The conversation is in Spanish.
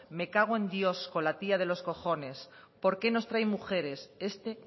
me cago en dios con la tía de los cojones por qué nos traen mujeres este